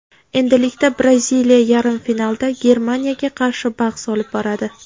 Endilikda Braziliya yarim finalda Germaniyaga qarshi bahs olib boradi.